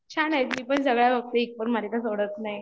छान आहे, मी पण सगळ्या बघते, एकपण मालिका सोडत नाही